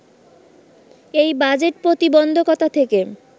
এই ‘বাজেট-প্রতিবন্ধকতা’ থেকে